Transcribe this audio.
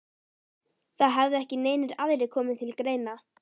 Það hefði ekki neinir aðrir komið til greina?